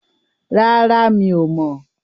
Rárá, mi ò mọ̀.